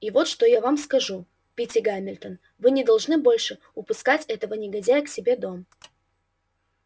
и вот что я вам сказку питти гамильтон вы не должны больше пускать этого негодяя к себе в дом